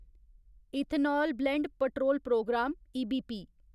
ethanol blend petrol programme EBP